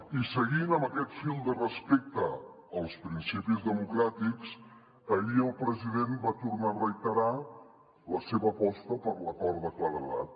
i seguint amb aquest fil de respecte als principis democràtics ahir el president va tornar a reiterar la seva aposta per l’acord de claredat